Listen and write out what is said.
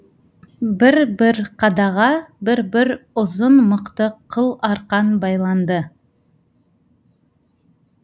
бір бір қадаға бір бір ұзын мықты қыл арқан байланды